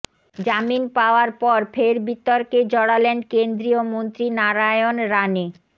জামিন পাওয়ার পর ফের বিতর্কে জড়ালেন কেন্দ্রীয় মন্ত্রী নারায়ণ রানে